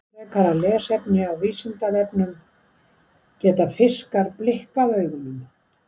Frekara lesefni á Vísindavefnum Geta fiskar blikkað augunum?